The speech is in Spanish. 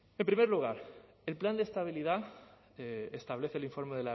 en primer lugar el plan de estabilidad establece el informe